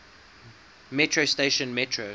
metro station metro